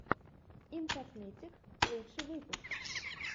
имкосметик лучший выпуск